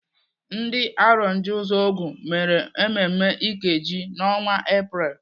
Ndị Arondizuogu mere mmemme Ikeji n'ọnwa Epreel.